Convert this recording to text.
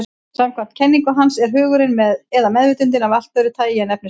Samkvæmt kenningu hans er hugurinn, eða meðvitundin, af allt öðru tagi en efnisheimurinn.